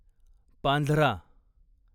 Panjhra